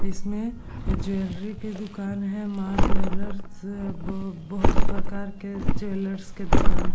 इसमें ज्वेलरी की दूकान है | माँ ज्वेलर्स ब बहुत प्रकार के ज्वेलर्स के दूकान --